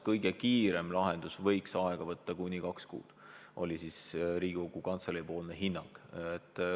Kõige kiirem lahendus võiks aega võtta kuni kaks kuud, selline oli Riigikogu Kantselei hinnang.